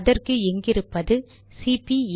அதற்கு இங்கிருப்பது சிபி82